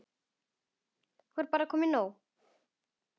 Var bara komið nóg?